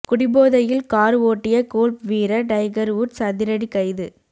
குடிபோதையில் கார் ஓட்டிய கோல்ப் வீரர் டைகர் உட்ஸ் அதிரடி கைது